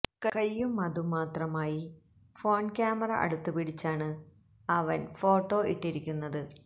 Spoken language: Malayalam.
കയ്യും അതും മാത്രമായി ഫോൺ ക്യാമെറ അടുത്തുപിടിച്ചാണ് അവൻ ഫോട്ടോ ഇട്ടിരിക്കുന്നത്